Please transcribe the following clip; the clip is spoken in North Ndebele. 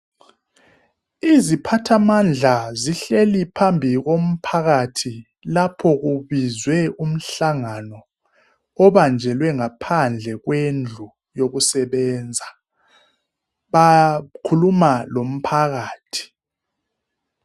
Iziphathamandla zihleli phambi komphakathi lapho kubizwe umhlangano obanjelwe ngaphandle kwendlu yokusebenza. Bakhuluma lomphakathi.